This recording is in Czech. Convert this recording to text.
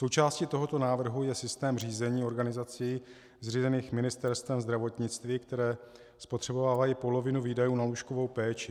Součástí tohoto návrhu je systém řízení organizací zřízených Ministerstvem zdravotnictví, které spotřebovávají polovinu výdajů na lůžkovou péči.